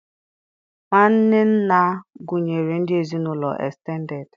Nwanne nna gụnyere ndị ezinụlọ estended